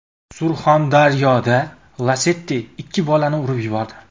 Surxondaryoda Lacetti ikki bolani urib yubordi.